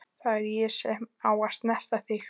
Það er ég sem á að snerta þig.